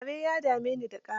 Gyare ya dami ni da ƙara.